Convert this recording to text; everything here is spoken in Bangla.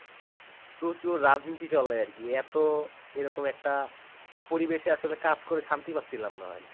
প্রচুর রাজনীতি চলে আরকি, এতো এরকম একটা পরিবেশে কাজ করে শান্তি পাচ্ছিলাম না ভাই।